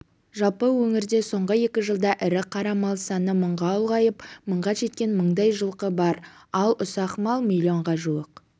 жалпы өңірде соңғы екі жылда ірі қара мал саны мыңға ұлғайып мыңға жеткен мыңдай жылқы бар ал ұсақ мал миллионға жуық